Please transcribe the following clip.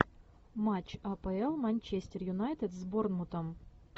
матч апл манчестер юнайтед с борнмутом